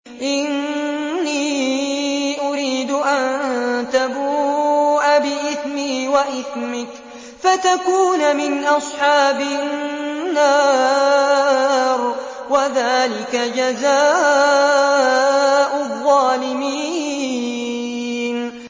إِنِّي أُرِيدُ أَن تَبُوءَ بِإِثْمِي وَإِثْمِكَ فَتَكُونَ مِنْ أَصْحَابِ النَّارِ ۚ وَذَٰلِكَ جَزَاءُ الظَّالِمِينَ